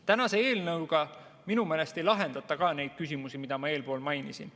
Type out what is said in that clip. Tänase eelnõuga minu meelest ei lahendata ka neid küsimusi, mida ma mainisin.